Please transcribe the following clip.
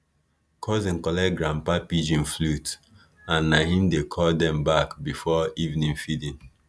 cousin collect grandpa pigeon flute and na him dey call dem back before evening feeding